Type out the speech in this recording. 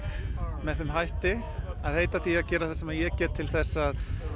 með þeim hætti að heita því að gera það sem ég get til þess að